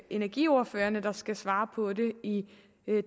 energiordførerne der skal svare på det i